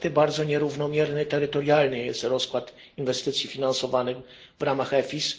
Niestety bardzo nierównomierny terytorialnie jest rozkład inwestycji finansowanych w ramach EFIS.